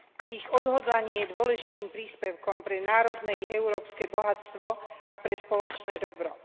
Ich odhodlanie je dôležitým príspevkom pre národné i európske bohatstvo a pre spoločné dobro.